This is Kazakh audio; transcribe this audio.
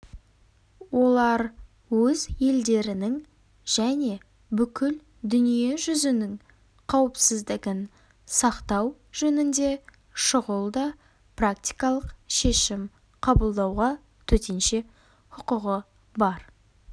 олар өз елдерінің және бүкіл дүние жүзінің қауіпсіздігін сақтау жөнінде шұғыл да практикалық шешім қабылдауға төтенше хұқығы бар